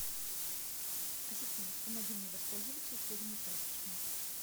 ассистент помоги мне воспользоваться услугами прачечной